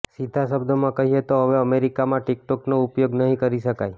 સીધા શબ્દોમાં કહીએ તો હવે અમેરિકામાં ટિકટોકનો ઉપયોગ નહીં કરી શકાય